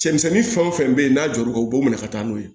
Cɛmisɛnnin fɛn o fɛn bɛ n'a jɔr'u b'u minɛ ka taa n'u ye